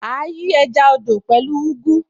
À á yí ẹja odò pẹ̀lú ugu